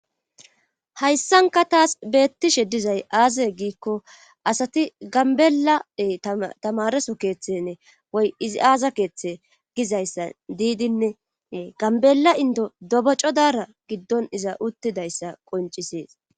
Hayssanka taas beettishe dizay aaze giikko asati gambelae tamareso keeththenne woy izi aaza keeththe gizayssa diidinne ganbela indo dobo codara giddon iza uttidayssa qoncisees.